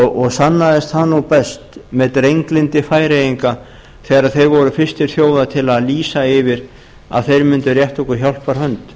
og sannaðist það best með drenglyndi færeyinga þegar ári voru fyrstir þjóða til að lýsa yfir að þeir mundu rétta okkur hjálparhönd